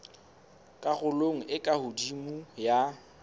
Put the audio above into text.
karolong e ka hodimo ya